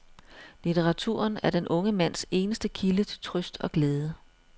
Litteraturen er den unge mands eneste kilde til trøst og glæde.